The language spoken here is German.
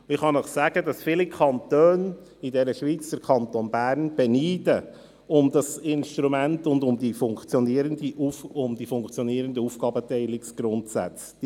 Ich kann Ihnen sagen, dass viele Kantone in der Schweiz den Kanton Bern um dieses Instrument und um die funktionierenden Aufgabenteilungsgrundsätze beneiden.